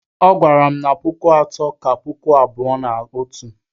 Ọ gwara m na puku atọ ka puku abụọ na otu